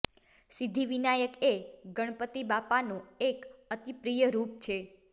સિદ્ધિવિનાયક એ ગણપતિ બાપા નુ એક અતિ પ્રિય રૂપ છે